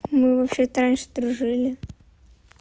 мы вообще-то раньше дружили